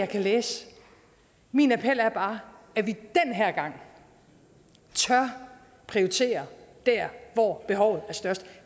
kan læse min appel er bare at vi den her gang tør prioritere der hvor behovet er størst